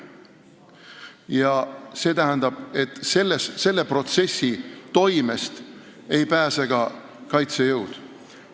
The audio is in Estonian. Ja selle protsessi toimest ei pääse ka kaitsejõud.